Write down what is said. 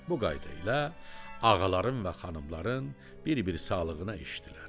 Bu qayda ilə ağaların və xanımların bir-bir sağlıqlarına içdilər.